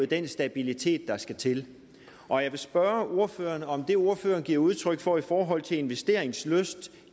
den stabilitet der skal til og jeg vil spørge ordføreren om det som ordføreren giver udtryk for i forhold til investeringslyst